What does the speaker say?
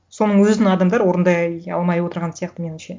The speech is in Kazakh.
соның өзін адамдар орындай алмай отырған сияқты меніңше